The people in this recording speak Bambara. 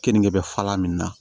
Keninge bɛ fala min na